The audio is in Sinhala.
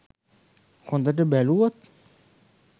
හොදට බැලුවොත්.